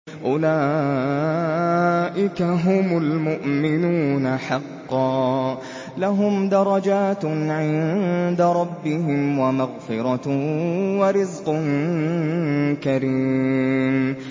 أُولَٰئِكَ هُمُ الْمُؤْمِنُونَ حَقًّا ۚ لَّهُمْ دَرَجَاتٌ عِندَ رَبِّهِمْ وَمَغْفِرَةٌ وَرِزْقٌ كَرِيمٌ